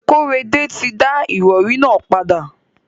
Kóredé ti da ìrọrí nà padà.